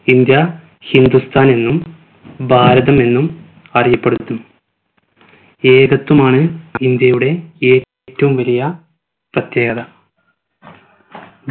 India ഹിന്ദുസ്ഥാനെന്നും ഭാരതമെന്നും അറിയപ്പെടുന്നു ഏകത്വമാണ് ഇന്ത്യയുടെ ഏറ്റവും വലിയ പ്രത്യേകത